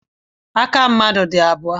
Aka mmadụ dị abụọ.